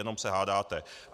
Jenom se hádáte.